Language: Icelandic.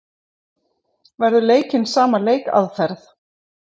Verður leikinn sama leikaðferð?